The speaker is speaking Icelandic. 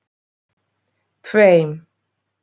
tveim